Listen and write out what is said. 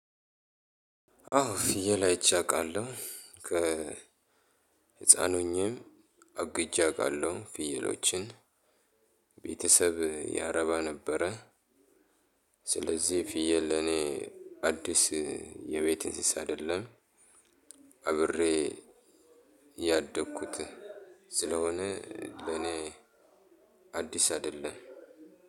አው ፍየል አይቼ አውቃለሁ ከ ህፃን ሆኜ አግጄ አውቃለሁ ፍየሎችን ቤተሰብ ያረባ ነበረ። ስለዚህ ፍየል ለኔ አዲስ የቤት እንስሳ አይደለም። አብሬ ያደግኩት ስለሆነ ለኔ አዲስ አይደለም